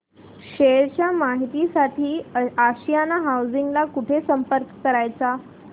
share च्या माहिती साठी आशियाना हाऊसिंग ला कुठे संपर्क करायचा